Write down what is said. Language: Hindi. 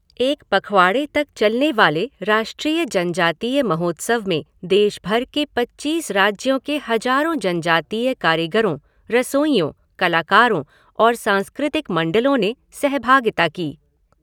एक पखवाड़े तक चलने वाले राष्ट्रीय जनजातीय महोत्सव में देश भर के पचीस राज्यों के हजारों जनजातीय कारीगरों, रसोइयों, कलाकारों और सांस्कृतिक मंडलों ने सहभागिता की।